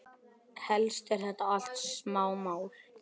Helst eru þetta allt smámál.